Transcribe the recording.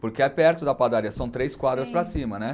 Porque é perto da padaria, são três quadras para cima, né?